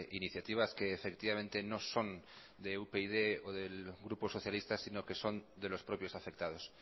iniciativas que efectivamente no son de upyd o del grupo socialista sino que son de los propios afectados